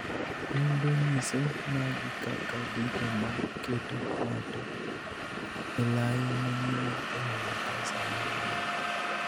Nonro nyiso magi kaka gigo ma keto ng'ato elai manyime e yudo kansa mar remo.